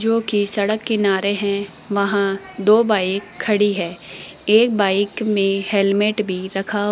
जोकि सड़क किनारे हैं वहां दो बाइक खड़ी है एक बाइक में हेलमेट भी रखा --